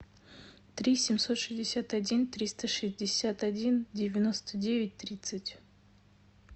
три семьсот шестьдесят один триста шестьдесят один девяносто девять тридцать